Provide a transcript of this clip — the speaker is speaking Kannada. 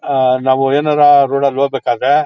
ಆ ನಾವು ಏನಾರ ಆ ರೋಡ್ ಅಲ್ ಹೋಗ್ಬೇಕಾದ್ರೆ--